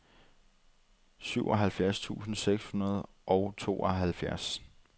syvoghalvtreds tusind seks hundrede og tooghalvfjerds